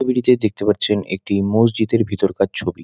ছবিটিতে দেখতে পাচ্ছেন একটি মজিদের ভিতরকার ছবি।